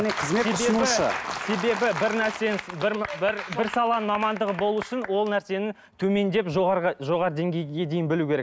себебі бір нәрсенің бір саланың мамандығы болу үшін ол нәрсені төмендеп жоғары деңгейге дейін білу керек